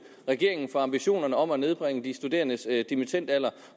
regeringen for ambitionerne om at nedbringe de studerendes dimittendalder